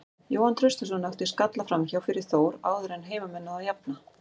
Jóhann Traustason átti skalla framhjá fyrir Þór áður en að heimamenn náðu að jafna.